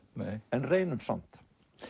en reynum samt